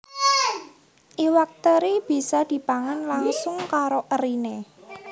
Iwak teri bisa dipangan langsung karo eriné